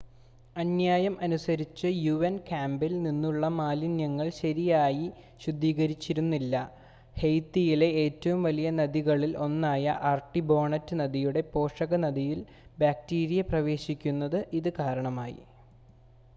അന്യായം അനുസരിച്ച് യുഎൻ ക്യാമ്പിൽ നിന്നുള്ള മാലിന്യങ്ങൾ ശരിയായി ശുദ്ധീകരിച്ചിരുന്നില്ല ഹെയ്ത്തിയിലെ ഏറ്റവും വലിയ നദികളിൽ ഒന്നായ ആർട്ടിബോണറ്റ് നദിയുടെ പോഷക നദിയിൽ ബാക്ടീരിയ പ്രവേശിക്കുന്നതിന് ഇത് കാരണമായി